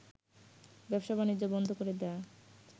ব্যবসা বাণিজ্য বন্ধ করে দেয়ায়